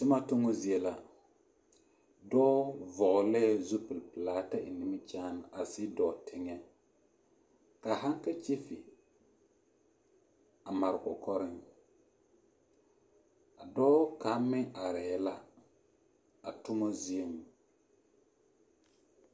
Toma tommo zie la, dɔɔ vɔgelɛɛ zupili pelaa ta eŋ nimikyaane a sigi dɔɔ teŋɛ ka haŋkakyifi a mare o kɔkɔreŋ, a dɔɔ kaŋ meŋ arɛɛ la a toma zieŋ.